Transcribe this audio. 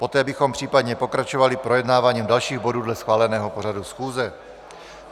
Poté bychom případně pokračovali projednáváním dalších bodů dle schváleného pořadu schůze.